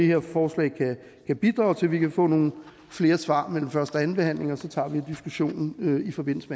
her forslag kan bidrage til vi kan få nogle flere svar mellem første og anden behandling og så tager vi diskussionen i forbindelse